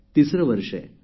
तिसरे वर्ष आहे